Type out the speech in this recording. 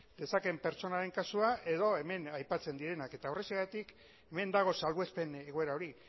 dezaken pertsonaren kasua edo hemen aipatzen direnak eta horrexegatik hemen dago salbuespen egoera hori